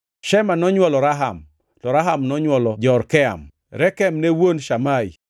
Shema nonywolo Raham, to Raham nonywolo Jorkeam. Rekem ne wuon Shamai.